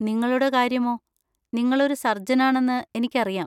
നിങ്ങളുടെ കാര്യമോ, നിങ്ങൾ ഒരു സർജനാണെന്ന് എനിക്കറിയാം.